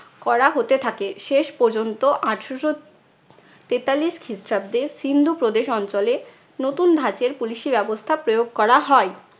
করা হতে থাকে। শেষপর্যন্ত আঠারশো তেতাল্লিশ খ্রিস্টাব্দে সিন্ধু প্রদেশ অঞ্চলে নতুন ধাঁচের police ই ব্যবস্থা প্রয়োগ করা হয়।